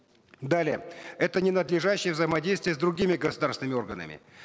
далее это ненадлежащее взаимодействие с другими государственными органами